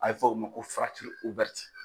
A be fɔ o ma ko